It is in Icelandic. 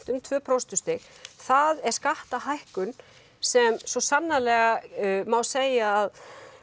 um tvö prósentustig það er skattahækkun sem svo sannarlega má segja að